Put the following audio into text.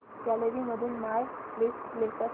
gallery मधून my list play कर